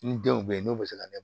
Ni denw bɛ n'o bɛ se ka